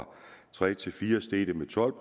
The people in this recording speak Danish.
tre til fire steg det med tolv